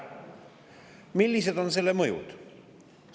Millised on selle mõjud?